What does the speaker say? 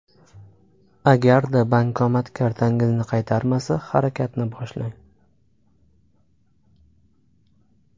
Agarda bankomat kartangizni qaytarmasa harakatni boshlang.